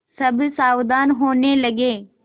सब सावधान होने लगे